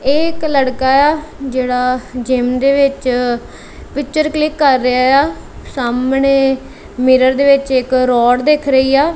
ਇਹ ਇੱਕ ਲੜਕਾ ਜਿਹੜਾ ਜਿਮ ਦੇ ਵਿੱਚ ਪਿੱਚਰ ਕਲਿੱਕ ਕਰ ਰਿਹਾ ਏ ਆ ਸਾਹਮਣੇ ਮਿਰਰ ਦੇ ਵਿੱਚ ਇੱਕ ਰੋਡ ਦਿਖ ਰਹੀ ਆ।